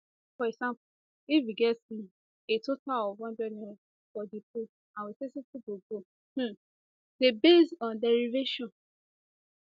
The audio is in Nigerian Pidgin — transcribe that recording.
for example if we get um a total of n100 for di pool and we say 60 go go um dey based on derivation